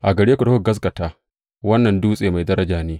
A gare ku da kuka gaskata, wannan dutse mai daraja ne.